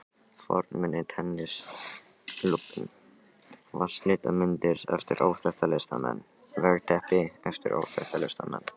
fornmuni, tennisklúbbinn, vatnslitamyndir eftir óþekkta listamenn, veggteppi eftir óþekkta listamenn.